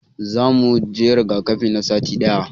Za mu zo muje rigakafi na sati daya.